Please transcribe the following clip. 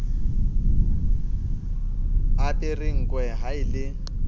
apere nkwe ha e le